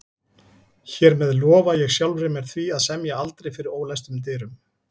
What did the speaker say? Hér með lofa ég sjálfri mér því að semja aldrei fyrir ólæstum dyrum